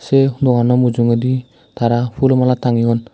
ei doganno mujugedi tara pulo mala tangeyon.